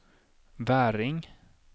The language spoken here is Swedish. Väring